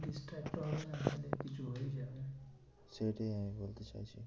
সেটাই আমি বলতে চাইছি।